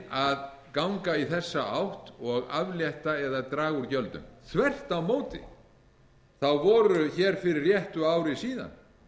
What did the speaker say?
að ganga í þessa átt og aflétta eða draga úr gjöldum þvert á móti voru hér fyrir réttu ári síðan